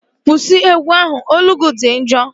Kwụsị egwu ahụ! Olu gị dị njọ